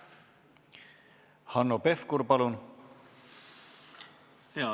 Hanno Pevkur, palun!